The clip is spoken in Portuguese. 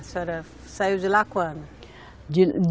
A senhora saiu de lá quando? De